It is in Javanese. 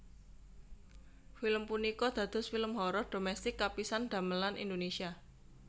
Film punika dados film horor dhomestik kapisan damelan Indonesia